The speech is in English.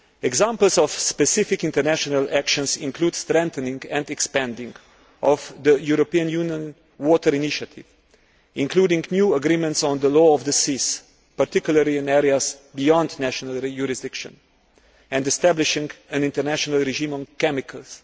Examples of specific international actions include the strengthening and expanding of the European Union Water Initiative, including new agreements on the Law of the Sea, particularly in areas beyond national jurisdiction, and establishing an international regime on chemicals.